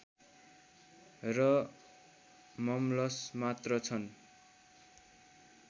र मम्लस मात्र छन्